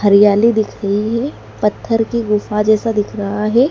हरियाली दिख रही है पत्थर के गुफा जैसा दिख रहा है।